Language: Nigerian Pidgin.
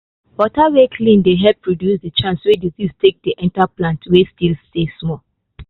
water way clean dey help reduce the chance way disease take dey enter plant way still small.